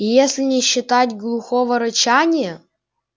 если не считать глухого рычания